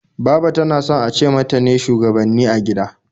Baba ta na son a ce mata ne shugabanni a gida